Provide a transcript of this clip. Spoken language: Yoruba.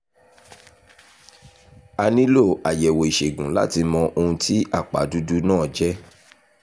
a nílò àyẹ̀wò ìṣègùn láti mọ ohun tí àpá dúdú náà jẹ́